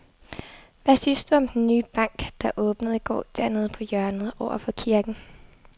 Hvad synes du om den nye bank, der åbnede i går dernede på hjørnet over for kirken?